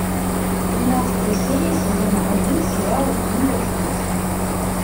тринадцатая серия сезона один сериала ким пять с плюсом